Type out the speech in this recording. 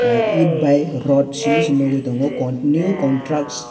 et bai rota simi se nogoi tango continue contracts.